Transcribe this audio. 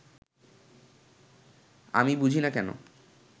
আমি বুঝি না, কেন